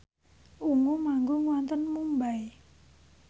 Ungu manggung wonten Mumbai